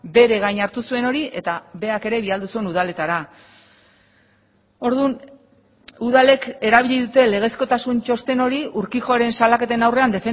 bere gain hartu zuen hori eta berak ere bidali zuen udaletara orduan udalek erabili dute legezkotasun txosten hori urquijoren salaketen aurrean